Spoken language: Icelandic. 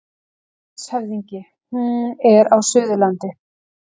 LANDSHÖFÐINGI: Hún er á Suðurlandi.